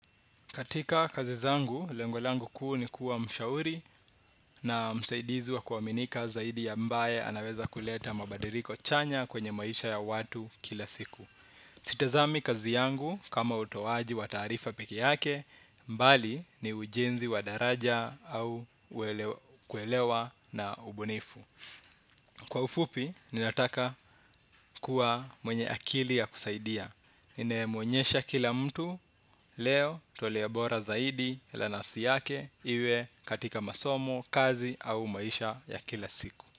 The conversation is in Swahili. Katika kazi zangu, lengo langu kuu ni kuwa mshauri na msaidizi wa kuaminika zaidi ambae anaweza kuleta mabadiriko chanya kwenye maisha ya watu kila siku. Sitazami kazi yangu, kama utowaji wa taarifa peke yake, mbali ni ujenzi wa daraja au kuelewa na ubunifu. Kwa ufupi, ninataka kuwa mwenye akili ya kusaidia. Ninaye mwonyesha kila mtu, leo toleo bora zaidi la nafsi yake iwe katika masomo, kazi au maisha ya kila siku.